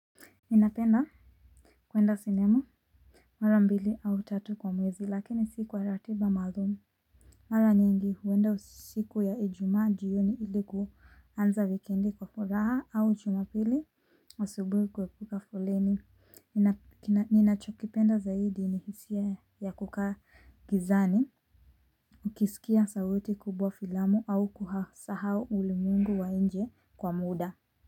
Ninapenda kwenda sinema mara mbili au tatu kwa mwezi lakini si kwa ratiba maalumu. Mara nyingi huenda siku ya ijumaa jioni ili kuanza wikendi kwa furaha au jumapili asubuhi kuepuka foleni ninachokipenda zaidi ni hisia ya kukaa gizani. Ukisikia sauti kubwa filamu au kusahau ulimwengu wa nje kwa muda.